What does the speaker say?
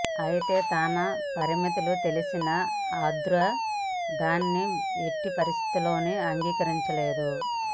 అయితే తన పరిమితులు తెలిసిన ఆరుద్ర దాన్ని ఎట్టి పరిస్థితుల్లోనూ అంగీకరించలేదు